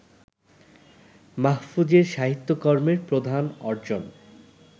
মাহফুজের সাহিত্যকর্মের প্রধান অর্জন